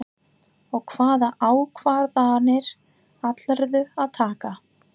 Og hvaða ákvarðanir ætlarðu að taka?